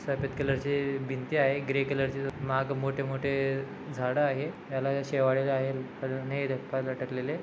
सफ़ेद कलर चे भिंती आहे. ग्रे कलर चे मागं मोठे मोठे झाड़ आहे. याला शिवाडे अजुन लटकलेले--